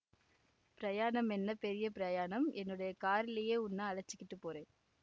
பிரயாணம் என்ன பெரிய பிரயாணம் என்னோட கார்லியே உன்ன அழச்சிக்கிட்டுப் போறேன்